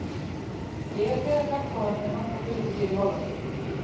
Ég hef þegar hjálpað honum með nokkra hluti hér í Hollandi.